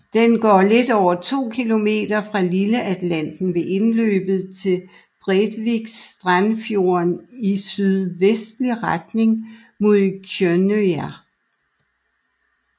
Den går lidt over to kilometer fra Lilleatlanteren ved indløbet til Brevikstrandfjorden i sydvestlig retning mod Kjønnøya